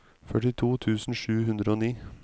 førtito tusen sju hundre og ni